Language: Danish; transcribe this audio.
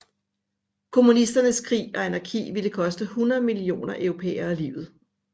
Kommunisternes krig og anarki ville koste 100 millioner europæere livet